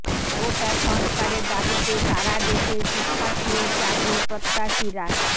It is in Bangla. কোটা সংস্কারের দাবিতে সারা দেশের শিক্ষার্থী ও চাকরি প্রত্যাশীরা